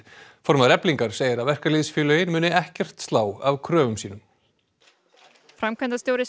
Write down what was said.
formaður Eflingar segir að verkalýðsfélögin muni ekkert slá af kröfum sínum framkvæmdastjóri